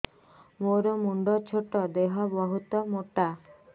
ମୋର ମୁଣ୍ଡ ଛୋଟ ଦେହ ବହୁତ ମୋଟା